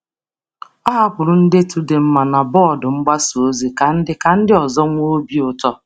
Ọ hapụrụ ndetu dị mma na bọọdụ mgbasa ozi ka ndị ka ndị ọzọ nwee obi ụtọ.